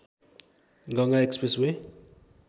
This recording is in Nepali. Ganga Express way